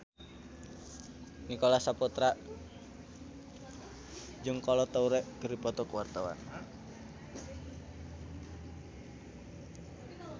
Nicholas Saputra jeung Kolo Taure keur dipoto ku wartawan